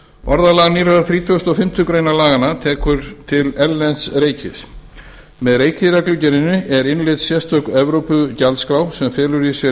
orðalag nýrrar þrítugasta og fimmtu grein laganna tekur til erlends reikis með reikireglugerðinni er innleidd sérstök evrópugjaldskrá sem felur í sér